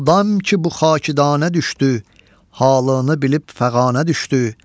Oldam ki bu xakidanə düşdü, halını bilib fəqanə düşdü.